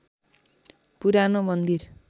पुरानो मन्दिर